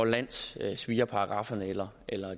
landssvigerparagrafferne eller